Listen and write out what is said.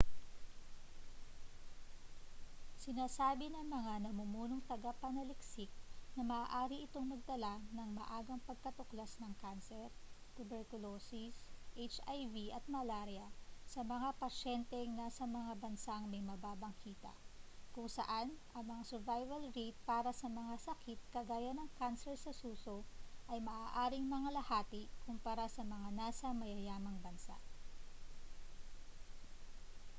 sinasabi ng mga namumunong tagapanaliksik na maaari itong magdala ng maagang pagkatuklas ng kanser tuberkulosis hiv at malarya sa mga pasyenteng nasa mga bansang may mababang kita kung saan ang mga survival rate para sa mga sakit kagaya ng kanser sa suso ay maaaring mangalahati kumpara sa mga nasa mayayamang bansa